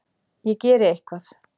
Ég geri eitthvað.